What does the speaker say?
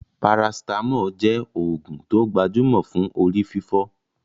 Paracetamol jẹ oògùn tó gbajúmọ̀ fún orí fífọ́